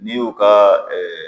N'i y'u ka